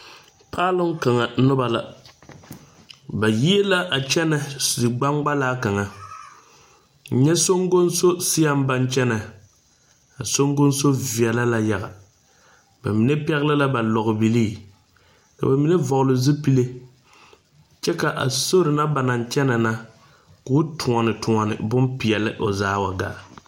Paaluŋ kanga noba la. Ba yieɛ la a kyɛne zie gbangbalaa kanga. Nyɛ sɔgonsɔ seɛŋ ba kyɛnɛ. A sɔgonsɔ viɛle la yaga. Ba mene pɛgle la ba lɔgbilii, ka ba mene vogle zupule. Kyɛ ka a sori na ba naŋ kyɛne na, k'o tuone tuone boŋ piɛle o zaa wa gaa